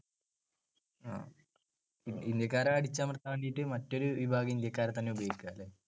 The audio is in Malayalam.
ആ ഇന്ത്യാക്കാരെ അടിച്ചമർത്താൻ വേണ്ടിട്ട് മറ്റൊരു വിഭാഗം ഇന്ത്യാക്കാരെ തന്നെ ഉപയോഗിക്ക അല്ലെ?